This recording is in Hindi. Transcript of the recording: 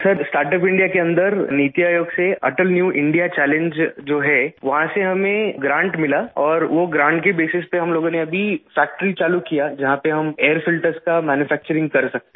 सर स्टार्टअप इंडिया के अन्दर नीति आयोग से अटल न्यू इंडिया चैलेंज जो है वहाँ से हमें ग्रांट मिला और वो ग्रांट के बेसिस पे हम लोगों ने अभी फैक्ट्री चालू किया जहाँ पे हम एयर फिल्टर्स का मैन्यूफैक्चरिंग कर सकते हैं